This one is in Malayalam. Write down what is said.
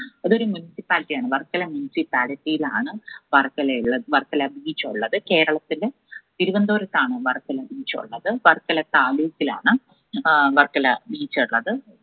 അതൊരു municipality ആണ് വർക്കല municipality ഇലാണ് വർക്കല ഉള്ളത് വർക്കല beach ഉള്ളത്. കേരളത്തില് തിരുവനന്തപുരത്താണ് വർക്കല beach ഉള്ളത്. വർക്കല താലൂക്കിലാണ് ആഹ് വർക്കല beach ഉള്ളത്.